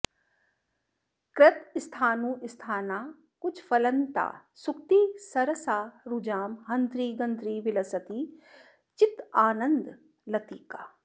कृतस्थाणुस्थाना कुचफलनता सूक्तिसरसा रुजां हन्त्री गन्त्री विलसति चिदानन्दलतिका